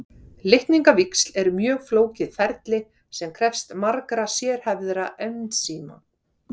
Litningavíxl eru mjög flókið ferli sem krefst margra sérhæfðra ensíma.